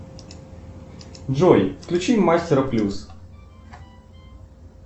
джой включи мастера плюс